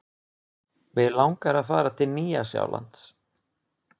Mig langar að fara til Nýja-Sjálands.